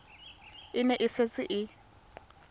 e ne e setse e